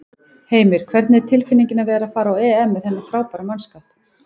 Heimir: Hvernig er tilfinningin að vera að fara á EM með þennan frábæra mannskap?